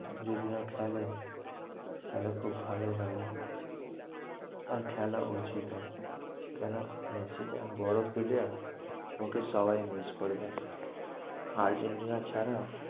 যদি ও খেলে তাহলে খুব ভালোই হবে। আমি কেন মেসি যা বড়ো player ওকে সবাই miss করবে। আর্জেন্টিনা ছাড়া